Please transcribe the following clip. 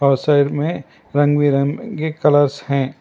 और साइड में रंग बिरंगे के कलर्स हैं।